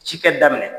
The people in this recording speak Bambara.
Ci kɛ daminɛ